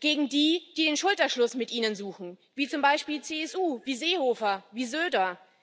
gegen die, die den Schulterschluss mit Ihnen suchen, wie zum Beispiel die CSU, wie Seehofer, wie Söder.